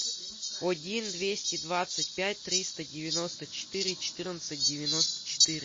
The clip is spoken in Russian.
один двести двадцать пять триста девяносто четыре четырнадцать девяносто четыре